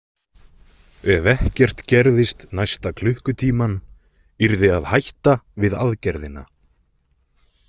Ef ekkert gerðist næsta klukkutímann yrði að hætta við aðgerðina.